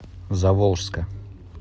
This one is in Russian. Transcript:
заволжска